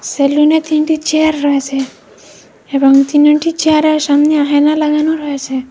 সেলুনে তিনটি চেয়ার রয়েসে এবং তিনটি চেয়ারের সামনে আহেনা লাগানো রয়েসে।